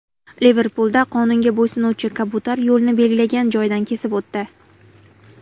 Liverpulda qonunga bo‘ysunuvchi kabutar yo‘lni belgilangan joydan kesib o‘tdi .